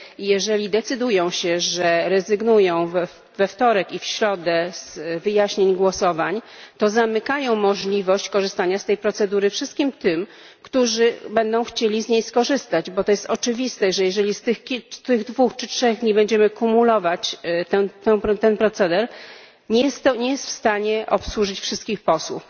Jeżeli decydują się, że rezygnują we wtorek i w środę z wyjaśnień głosowań, to zamykają możliwość korzystania z tej procedury wszystkim tym, którzy będą chcieli z niej skorzystać, bo to jest oczywiste, że jeżeli z tych dwóch czy trzech dni będziemy kumulować ten proceder, to nie będziemy w stanie obsłużyć wszystkich posłów.